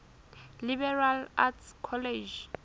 liberal arts college